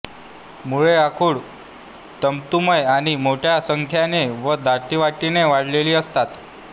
मुळे आखूड तंतुमय आणि मोठ्या संख्येने व दाटीवाटीने वाढलेली असतात